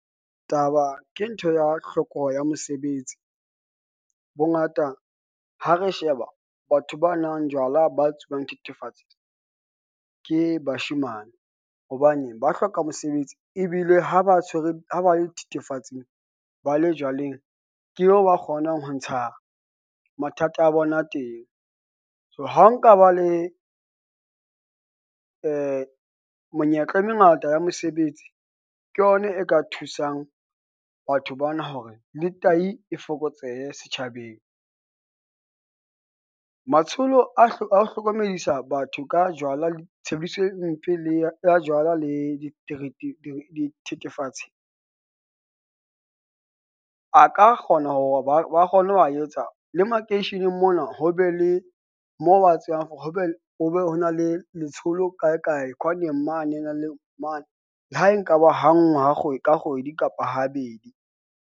Taba ke ntho ya hloko ya mosebetsi. Bongata ha re sheba batho ba nwang jwala. Ba tsubang thethefatsi ke bashemane hobane ba hloka mosebetsi ebile ha ba tshwere ha ba le thethefatsing. Ba le jwaleng, ke eo ba kgonang ho ntsha mathata a bona teng. So, ha nka ba le menyetla e mengata ya mosebetsi, ke yona e ka thusang batho bana hore le tahi e fokotsehe setjhabeng . Matsholo a hloka a ho hlokomedisa batho ka jwala le tshebediso e mpe le a jwala le dithethefatsi, a ka kgona hore ba ba kgone ho a etsa. Le makeisheneng mona, ho be le mo ba tsebang hore ho be ho be ho na le letsholo kae kae kwaneng mane a le mane, le ha e nka ba ha nngwe ha kgwedi ka kgwedi kapa habedi.